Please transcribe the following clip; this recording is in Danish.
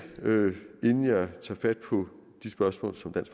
inden jeg tager fat på de spørgsmål som blandt